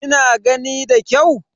Kina gani da kyau?